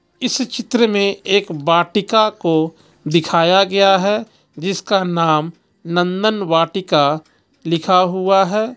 इस चित्र में एक वाटिका को दिखाया गया है जिसका नाम नंदन वाटिका लिखा हुआ है.